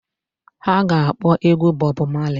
Ha ga-akpọ egwu Bob Marley.